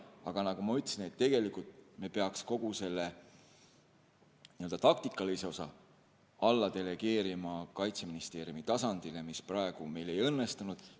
Aga nagu ma ütlesin, tegelikult me peaks kogu selle n-ö taktikalise osa alla delegeerima Kaitseministeeriumi tasandile, mis praegu meil ei õnnestunud.